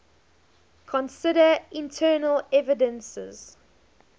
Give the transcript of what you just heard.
consider internal evidences